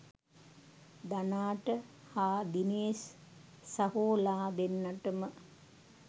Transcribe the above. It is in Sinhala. ධනා ට හා දීනේෂ් සහෝලා දෙන්නටම